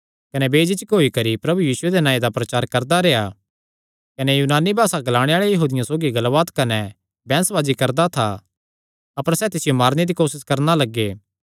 कने बेझिझक होई करी प्रभु यीशुये दे नांऐ दा प्रचार करदा कने यूनानी भासा ग्लाणे आल़े यहूदियां सौगी गल्लबात कने बैंह्सबाजी करदा था अपर सैह़ तिसियो मारने दी कोसस करणा लग्गे